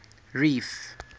reef